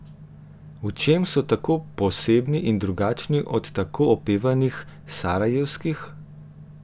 V čem so tako posebni in drugačni od tako opevanih sarajevskih?